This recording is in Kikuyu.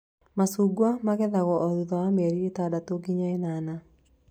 Macungwa magethagwo o thutha wa mĩeri ĩtandatũ nginya ĩnana